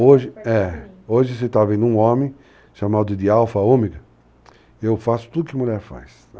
Hoje, é, você está vendo um homem chamado de alfa, ômega, eu faço tudo que mulher faz.